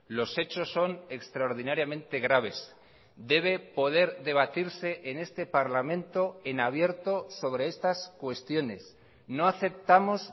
los hechos son extraordinariamente graves debe poder debatirse en este parlamento en abierto sobre estas cuestiones no aceptamos